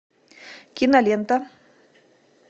кинолента